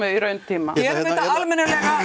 í rauntíma gerum þetta almennilega